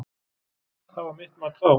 Það var mitt mat þá.